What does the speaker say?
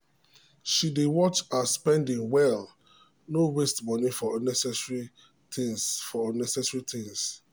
she dey watch her spending well no waste moni for unnecessary things. for unnecessary things.